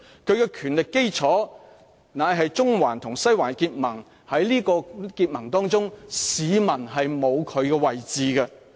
他的權力基礎是中環與西環的結盟，市民在結盟當中是沒有位置的。